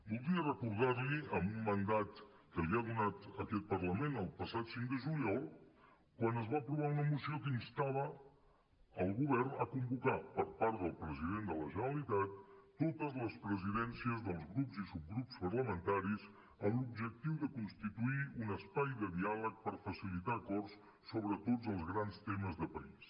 voldria recordar li amb un mandat que li ha donat aquest parlament el passat cinc de juliol quan es va aprovar una moció que instava el govern a convocar per part del president de la generalitat totes les presidències dels grups i subgrups parlamentaris amb l’objectiu de constituir un espai de diàleg per facilitar acords sobre tots els grans temes de país